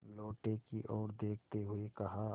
लोटे की ओर देखते हुए कहा